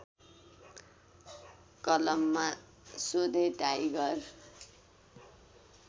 कलममा सोधे टाइगर